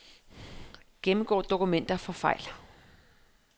Gennemgå dokumenter for fejl.